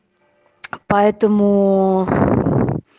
поэтому